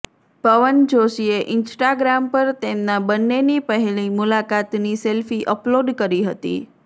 પવન જોશીએ ઈન્સ્ટાગ્રામ પર તેમના બંનેની પહેલી મુલાકાતની સેલ્ફી અપલોડ કરી હતી